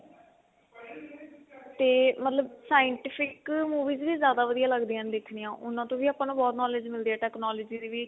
ਤੇ ਮਤਲਬ scientific movies ਜਿਆਦਾ ਵਧੀਆ ਲਗਦੀਆਂ ਨੇ ਦੇਖਣੀਆਂ ਉਨਾ to ਵੀ ਆਪਾਂ ਨੂੰ ਬਹੁਤ knowledge ਮਿਲਦੀ ਏ technology ਦੀ ਵੀ